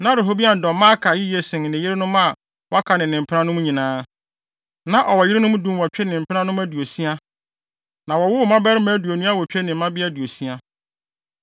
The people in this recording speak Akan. Na Rehoboam dɔ Maaka yiye sen ne yerenom a wɔaka ne ne mpenanom nyinaa. Na ɔwɔ yerenom dunwɔtwe ne mpenanom aduosia, na wɔwowoo mmabarima aduonu awotwe ne mmabea aduosia.